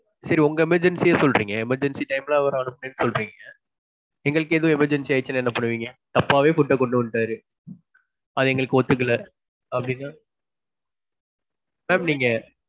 சரி உங்க emergency ய சொல்றீங்க, emergency time ல அவரை அனுப்புனீங்கனு சொல்றீங்க. எங்களுக்கு ஏதும் emergency ஆயிடிச்சுனா என்ன பண்ணுவீங்க? தப்பாவே food ட கொன்டு வந்துட்டாரு. அது எங்களுக்கு ஒத்துக்கலே அப்பிடின்னா? சொல்லுங்க.